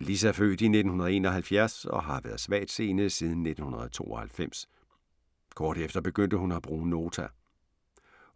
Lis er født i 1971 og har været svagtseende siden 1992. Kort efter begyndte hun at bruge Nota.